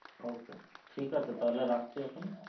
okay ঠিক আছে তাহলে রাখছি এখন?